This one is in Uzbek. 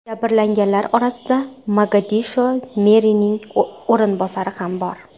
Jabrlanganlar orasida Mogadisho merining o‘rinbosari ham bor.